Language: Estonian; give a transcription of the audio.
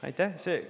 Aitäh!